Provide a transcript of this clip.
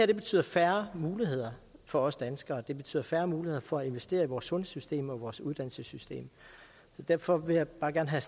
det betyder færre muligheder for os danskere det betyder færre muligheder for at investere i vores sundhedssystem og i vores uddannelsessystem derfor vil jeg bare gerne have